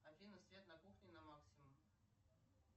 афина свет на кухне на максимум